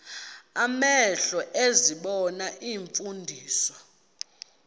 amehlo ezibona iimfundiso